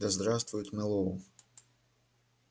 да здравствует мэллоу